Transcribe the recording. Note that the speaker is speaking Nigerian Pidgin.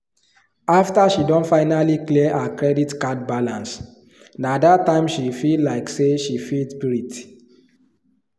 after she don finally clear her credit card balance nah that time she feel like say she fit breath